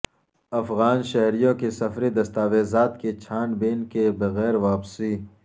افغان شہریوں کی سفری دستاویزات کی چھان بین کے بغیر واپسی